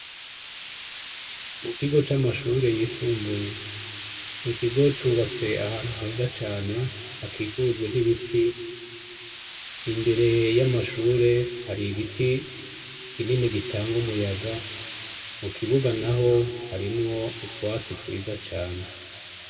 Mu kigo c’amashure yisumbuye, ico kigo cubatse ahantu heza cane hakikujwe n’ibiti, imbere y’amashure hari igiti kinini gitanga umuyaga mu kibuga naho harimwo utwatsi twiza cane.